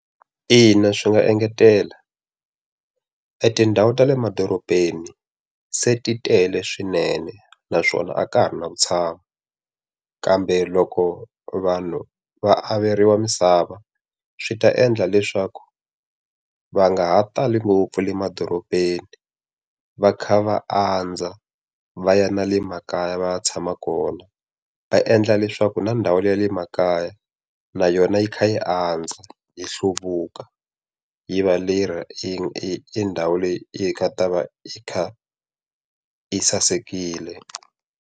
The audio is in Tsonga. Ina swi nga engetela. Etindhawu ta le madorobeni se ti tele swinene, naswona a ka ha ri na vutshamo. Kambe loko vanhu va averiwa misava swi ta endla leswaku va nga ha tali ngopfu le madorobeni. Va kha va andza va ya na le makaya va ya tshama kona. Va endla leswaku na ndhawu le ya le makaya, na yona yi kha yi andza, yi hluvuka, yi va leyi yi yi ndhawu leyi nga ta va yi kha yi sasekile.